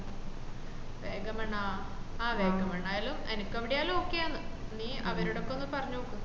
വാഗമണാ ആ വാഗണായലും എനക്ക് എവിടെയാലും ok ആണ് നീ അവരോടൊപ്പം ഒന്ന് പറഞ് നോക്ക്